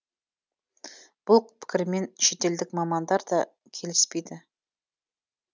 бұл пікірмен шетелдік мамандар да келіспейді